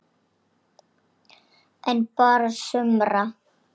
En bara sumra.